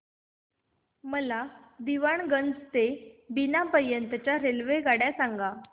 मला दीवाणगंज ते बिना पर्यंत च्या रेल्वेगाड्या सांगा